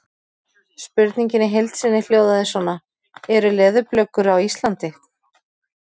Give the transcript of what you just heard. Spurningin í heild sinni hljóðaði svona: Eru leðurblökur á Íslandi?